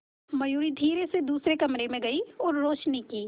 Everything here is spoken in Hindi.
मयूरी धीरे से दूसरे कमरे में गई और रोशनी की